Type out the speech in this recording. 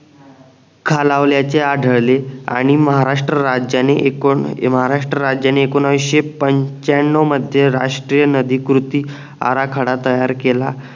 खालावलाचे आढळले आणि महाराष्ट्र राज्याने एकूण महाराष्ट्र राज्याने एकोणीशे पंच्यानऊ मध्ये राष्ट्रीय नदी कृती आरा खडा तयार केला